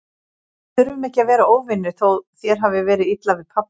Við þurfum ekki að vera óvinir, þótt þér hafi verið illa við pabba.